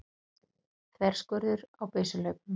Þverskurður á byssuhlaupum.